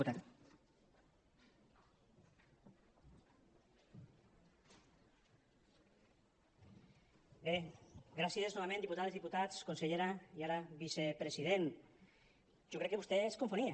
bé gràcies novament diputades diputats consellera i ara vicepresident jo crec que vostè es confonia